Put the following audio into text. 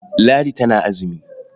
Ladi tana azumi.